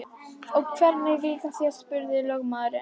Og hvernig líkar þér, spurði lögmaður.